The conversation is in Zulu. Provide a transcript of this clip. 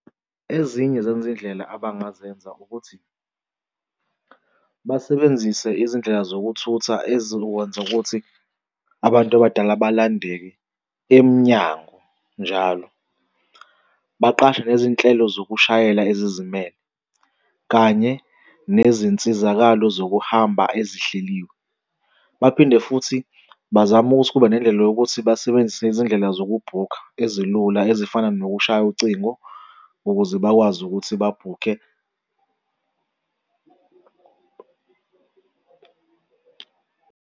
Ezinye zezindlela abangazenza ukuthi basebenzise izindlela zokuthutha ezokwenza ukuthi abantu abadala balandeke emnyango njalo. Baqashe lezi nhlelo zokushayela ezizimele kanye nezinsizakalo zokuhamba ezihleliwe. Baphinde futhi bazame ukuthi kube nendlela yokuthi sebenzise izindlela zokubhukha ezilula ezifana nokushaya ucingo ukuze bakwazi ukuthi babhukhe.